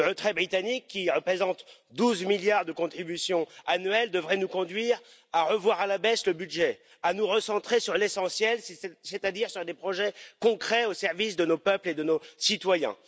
Le retrait britannique, qui représente 12 milliards de contribution annuelle, devrait nous conduire à revoir à la baisse le budget, à nous recentrer sur l'essentiel, c'est à dire sur des projets concrets, au service de nos peuples et de nos citoyens.